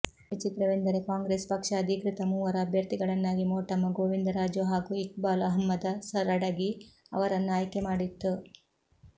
ವಿಚಿತ್ರವೆಂದರೆ Congress ಪಕ್ಷ ಅಧೀಕೃತ ಮೂವರು ಅಭ್ಯರ್ಥಿಗಳನ್ನಾಗಿ ಮೋಟಮ್ಮ ಗೋವಿಂದರಾಜು ಹಾಗೂ ಇಕ್ಬಾಲ್ ಅಹಮ್ಮದ ಸರಡಗಿ ಅವರನ್ನು ಆಯ್ಕೆ ಮಾಡಿತ್ತು